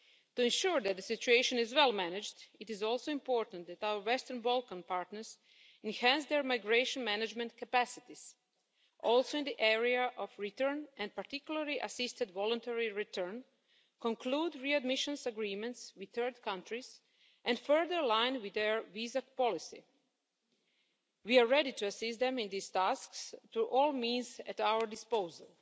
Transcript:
To ensure that the situation is well managed, it is also important that our Western Balkan partners enhance their migration management capacities, also in the area of return and particularly assisted voluntary return, conclude readmission agreements with third countries and further align their visa policies. We are ready to assist them in these tasks by all means at our disposal.